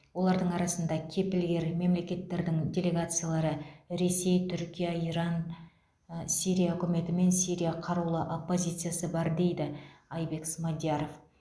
олардың арасында кепілгер мемлекеттердің делегациялары ресей түркия иран сирия үкіметі мен сирия қарулы оппозициясы бар деді айбек смадияров